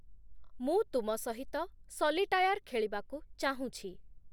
ମୁଁ ତୁମ ସହିତ ସଲିଟାୟାର୍ ଖେଳିବାକୁ ଚାହୁଁଛି |